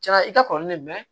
Cɛn na i ka kɔrɔlen ne mɛn